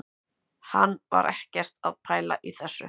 Hann var ekkert að pæla í þessu